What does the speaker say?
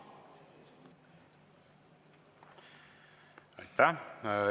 Aitäh!